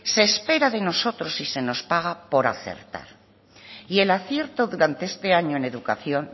se espera de nosotros y se nos paga por acertar y el acierto durante este año en educación